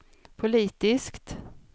politiskt